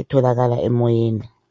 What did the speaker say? etholakala emoyeni.